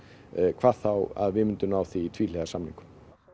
hvað þá að við myndum ná því í tvíhliða samningum